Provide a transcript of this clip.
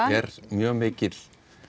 er mjög mikil